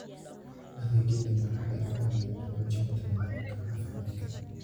Adeegyadani waxay caawiyaan xoojinta nidaamka caafimaadka.